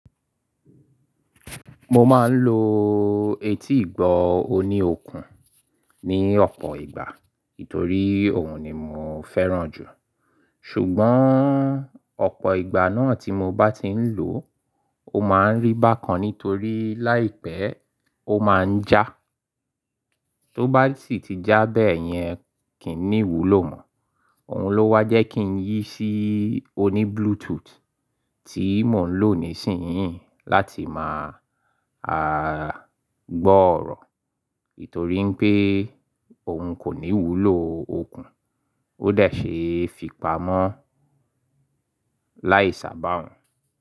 Mo máa ń lo etí ìgbọ́ òní okùn ní ọ̀pọ̀ ìgbà, nítorí òhun ni mò ń fẹ́ràn jù. Ṣùgbọ́n ọ̀pọ̀ ìgbà náà tí mo bá ti ń lò ó, ó máa ń rí bákan nítorí láìpẹ́ ó máa ń já. Tó bá sì ti já bẹ́ẹ̀ yẹn, kì í ní ìwúlò mọ́. Òhun ló wá jẹ́ kí n yí sí òní Bluetooth tí mò ń lò nísìnyí láti máa a gbọ́ ọ̀rọ̀. Nítorí pé òhun kò ní ìwúlò okùn, ó dà ṣe fi pamọ́ láì sàbà hun.